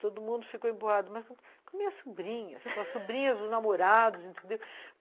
Todo mundo ficou emburrado, mas com as minhas sobrinhas, com as sobrinhas, os namorados, entendeu?